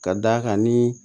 Ka d'a kan ni